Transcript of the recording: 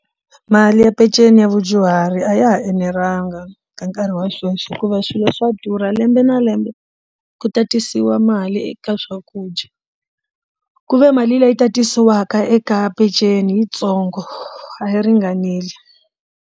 Mali ya peceni ya vadyuhari a ya ha enelanga ka nkarhi wa sweswi hikuva swilo swa durha lembe na lembe ku tatisiwa mali eka swakudya ku ve mali leyi tatisiwaka eka peceni yitsongo a yi ringaneli.